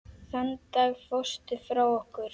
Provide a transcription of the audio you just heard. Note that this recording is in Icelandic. Þann dag fórstu frá okkur.